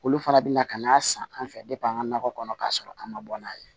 Olu fana bɛ na ka n'a san an fɛ an ka nakɔ kɔnɔ k'a sɔrɔ an ma bɔ n'a ye